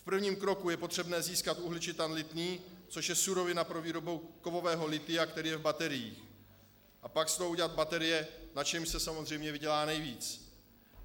V prvním kroku je potřebné získat uhličitan lithný, což je surovina pro výrobu kovového lithia, které je v bateriích, a pak z toho udělat baterie, na čemž se samozřejmě vydělá nejvíc.